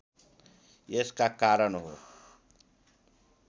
यसका कारण हो